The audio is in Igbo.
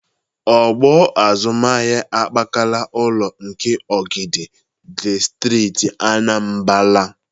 Ọgbọ azụmahịa akpakala ụlọ nke Ogidi dị Steeti Anambara.